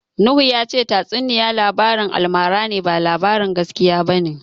Nuhu ya ce tatsuniya labarin almara ne, ba labarin gaskiya ba ne.